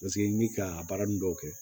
Paseke n bi ka a baara ninnu dɔw kɛ